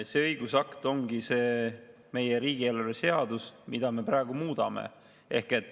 See õigusakt ongi meie riigieelarve seadus, mida me praegu muudame.